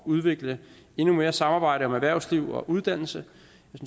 udvikle endnu mere samarbejde om erhvervsliv og uddannelse